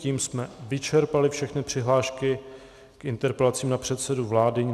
Tím jsme vyčerpali všechny přihlášky k interpelacím na předsedu vlády.